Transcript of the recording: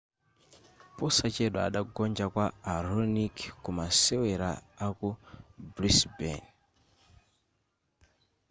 posachedwa adagonja kwa a raonic ku masewera aku brisbane